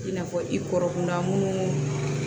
I n'a fɔ i kɔrɔkunda minnu